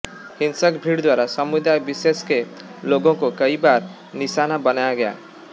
हिंसक भीड़ द्वारा समुदाय विशेष के लोगों को कई बार निशाना बनाया गया